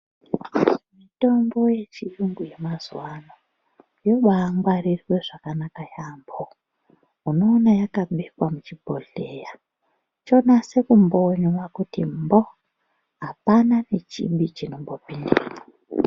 Mitombo yechiyungu yemazuva ano yobaangwarirwe zvakanaka yaambo. Unoona yakabekwa muchibhohleya chonase kumbonywa kuti mbo, hapana nechimbi chinombopindemwo.